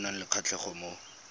ba nang le kgatlhego mo